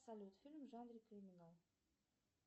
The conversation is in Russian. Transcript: салют фильм в жанре криминал